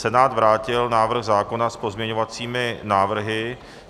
Senát vrátil návrh zákona s pozměňovacími návrhy.